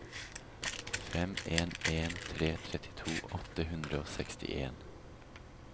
fem en en tre trettito åtte hundre og sekstien